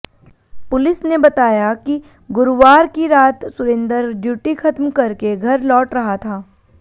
police ने बताया कि गुरुवार की रात सुरेंदर ड्यूटी खत्म करके घर लौट रहा था